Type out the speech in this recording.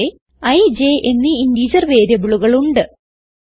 ഇവിടെ ഇ j എന്നീ ഇന്റിജർ വേരിയബിളുകൾ ഉണ്ട്